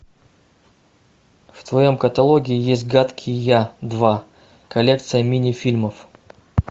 в твоем каталоге есть гадкий я два коллекция мини фильмов